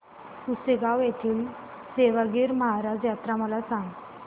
पुसेगांव येथील सेवागीरी महाराज यात्रा मला सांग